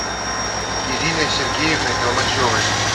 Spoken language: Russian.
ириной сергеевной толмачевой